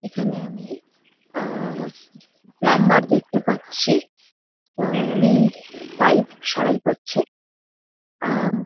এখানে আমি আহ প্লাম্বার দেখতে পাচ্ছি। আহ উনি পাইপ সারাই করছে। আহ --